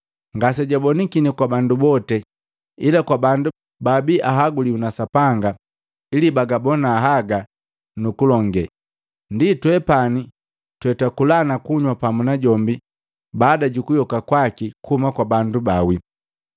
ngasejabonakini kwa bandu bote, ila kwa bandu bababi ahaguliwi na Sapanga ili bagabona haga nukulonge, ndi twepani twetwakula na kunywa pamu najombi baada jukuyoka kwaki kuhuma kwa bandu baawi.